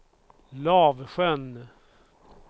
Lavsjön